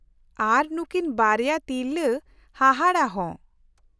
-ᱟᱨ ᱱᱩᱠᱤᱱ ᱵᱟᱨᱭᱟ ᱛᱤᱨᱞᱟᱹ ᱦᱟᱦᱟᱲᱟ ᱦᱚᱸ ᱾